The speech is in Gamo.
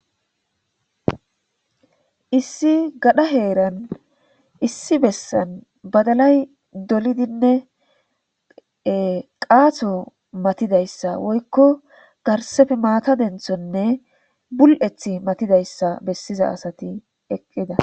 Issi gadha heeran issi bessan badalay dolidinne qaato matidayssa woykko garsefe maata denthonne bul'ethi matidayssa bessiza asati eqqida.